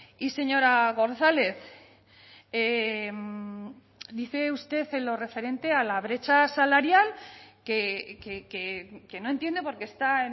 y señora gonzález dice usted en lo referente a la brecha salarial que no entiende por qué está